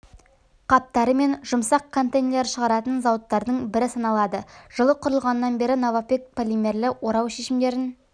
қаптары мен жұмсақ контейнерлер шығаратын зауыттардың бірі саналады жылы құрылғаннан бері новопэк полимерлі орау шешімдерін